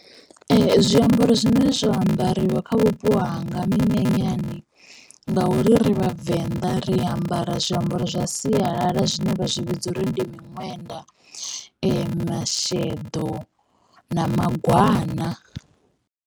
Ee zwiambaro zwine zwa ambariwa kha vhupo hanga minyanyani ngauri ri vhavenḓa ri ambara zwiambaro zwa sialala zwine vha zwi vhidza uri ndi miṅwenda, masheḓo na magwana.